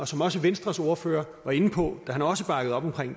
som også venstres ordfører var inde på da han også bakkede op om